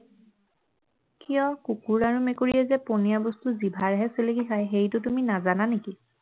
কিয় কুকুৰ আৰু মেকুৰীয়া যে পনীয়া বস্তু জিভাৰেহে চেলেকি খায় সেইটো তুমি নাজানা নেকি